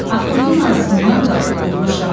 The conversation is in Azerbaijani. Axundun ağzından qapı budmuşam.